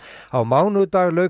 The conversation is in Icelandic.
á mánudag lauk